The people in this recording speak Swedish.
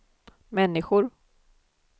människor